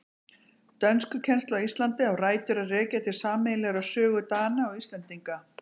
Dönskukennsla á Íslandi á rætur að rekja til sameiginlegrar sögu Dana og Íslendinga.